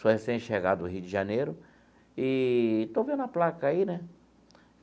Sou recém-chegado do Rio de Janeiro e estou vendo a placa aí, né?